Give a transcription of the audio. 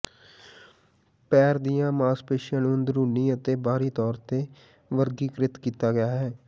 ਪੈਰ ਦੀਆਂ ਮਾਸਪੇਸ਼ੀਆਂ ਨੂੰ ਅੰਦਰੂਨੀ ਅਤੇ ਬਾਹਰੀ ਤੌਰ ਤੇ ਵਰਗੀਕ੍ਰਿਤ ਕੀਤਾ ਗਿਆ ਹੈ